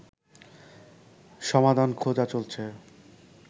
সমাধান খোঁজা চলছে